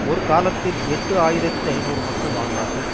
ஒரு காலத்தில் எட்டு ஆயிரத்தி ஐநூறு மக்கள் வாழ்ந்தார்கள்